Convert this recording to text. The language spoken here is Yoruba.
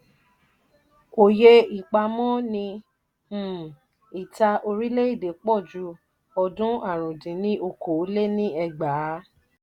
òye ipamo ni um ìta orile-ede pòju odun àrún dín ní okòó-lé-ní-ẹgbàá